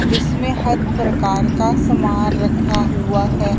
जिसमें हर प्रकार का सामान रखा हुआ है।